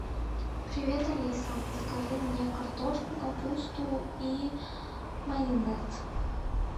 привет алиса закажи мне картошку капусту и майонез